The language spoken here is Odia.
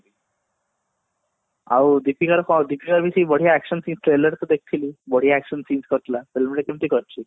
ଆଉ ଦୀପିକା ର ଦୀପିକା ର ସେଇ ବଢିଆ action trailer ରେ ଦେଖିଥିଲି ବଢିଆ action seen କରିଥିଲା କେମତି କରିଛି